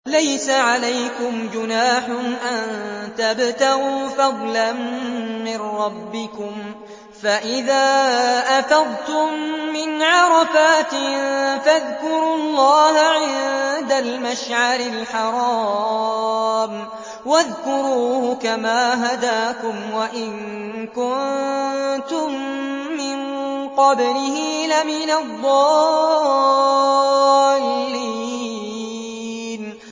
لَيْسَ عَلَيْكُمْ جُنَاحٌ أَن تَبْتَغُوا فَضْلًا مِّن رَّبِّكُمْ ۚ فَإِذَا أَفَضْتُم مِّنْ عَرَفَاتٍ فَاذْكُرُوا اللَّهَ عِندَ الْمَشْعَرِ الْحَرَامِ ۖ وَاذْكُرُوهُ كَمَا هَدَاكُمْ وَإِن كُنتُم مِّن قَبْلِهِ لَمِنَ الضَّالِّينَ